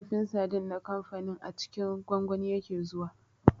Kifin sardine na kamfanin a cikin gwangwani yake zuwa